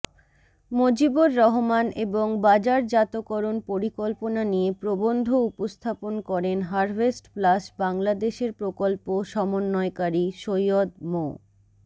মজিবর রহমান এবং বাজারজাতকরণ পরিকল্পনা নিয়ে প্রবন্ধ উপস্থাপন করেন হারভেস্টপ্লাস বাংলাদেশের প্রকল্প সমন্বয়কারী সৈয়দ মো